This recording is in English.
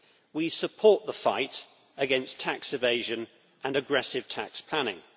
We support the fight against tax evasion and aggressive tax planning